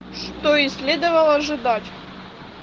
что и следовало ожидать